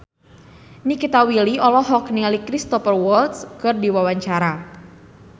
Nikita Willy olohok ningali Cristhoper Waltz keur diwawancara